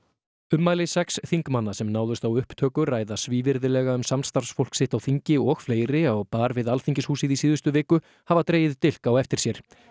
ummæli sex þingmanna sem náðust á upptöku ræða svívirðilega um samstarfsfólk sitt á þingi og fleiri á bar við Alþinghúsið í síðustu viku hafa dregið dilk á eftir sér